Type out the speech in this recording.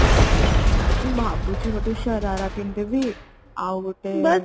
mଉଁ ଭାବୁଛି ଗୋଟେ ଶରାରା କିଣିଦେବି ଆଉ ଗୋଟେ